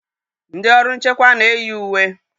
Ndị ọrụ nchekwa na-eyi uwe.